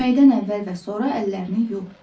Yeməkdən əvvəl və sonra əllərini yu.